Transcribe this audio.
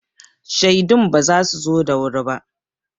Shaidun ba su zo da wuri ba.